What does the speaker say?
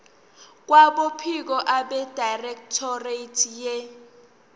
kwabophiko abedirectorate ye